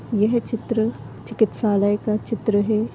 यह चित्र चिकित्सालय का चित्र है।